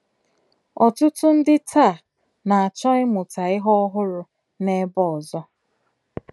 Ọtụtụ ndị taa na - achọ ịmụta ihe ọhụrụ n’ebe ọzọ.